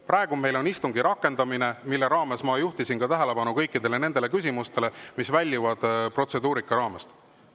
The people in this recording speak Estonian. Praegu on meil istungi rakendamine, mille käigus ma juhtisin ka tähelepanu kõikidele küsimustele, mis väljusid protseduurika raamest.